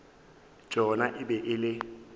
tšona e be e le